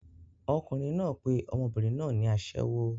Ọkùnrin náà pe ọmọbìnrin náà ní aṣẹ́wó.